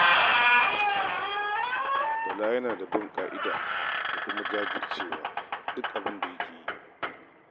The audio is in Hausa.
Bala yana da bin ƙa'ida da kuma jajircewa a duk abin da yake yi.